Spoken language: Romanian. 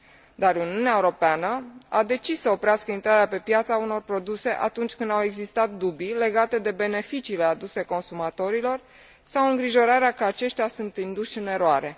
Dar Uniunea Europeană a decis să oprească intrarea pe piață a unor produse atunci când au existat dubii legate de beneficiile aduse consumatorilor, sau îngrijorarea că aceștia sunt induși în eroare.